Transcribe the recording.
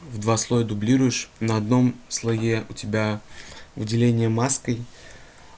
в два слоя дублируешь на одном слое у тебя выделение маской